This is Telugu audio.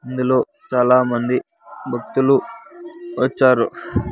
ఇందులో చాలామంది భక్తులు వచ్చారు.